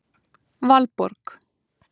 Valborg